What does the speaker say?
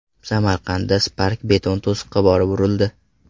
Samarqandda Spark beton to‘siqqa borib urildi.